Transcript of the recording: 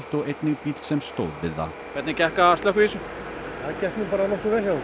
og einnig bíll sem stóð við það hvernig gekk að slökkva í þessu það gekk bara nokkuð vel hjá